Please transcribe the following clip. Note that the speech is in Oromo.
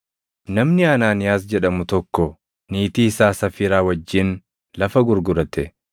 Namni Anaaniyaas jedhamu tokko niitii isaa Safiiraa wajjin lafa gurgurate.